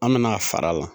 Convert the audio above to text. An nana fara a la